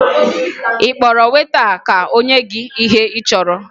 Ị kpọrọ weta ka o nye gị ihe ị chọrọ?